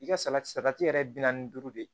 I ka salati salati yɛrɛ bi naani ni duuru de